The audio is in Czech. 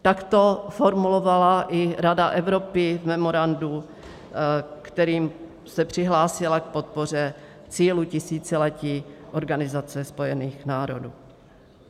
Tak to formulovala i Rada Evropy v memorandu, kterým se přihlásila k podpoře cílů tisíciletí Organizace spojených národů.